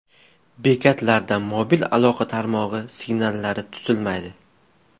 Bekatlarda mobil aloqa tarmog‘i signallari tutilmaydi.